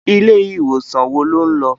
Ilé iwósan wó ló n lò?